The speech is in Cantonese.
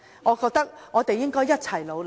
我覺得我們應該一起努力。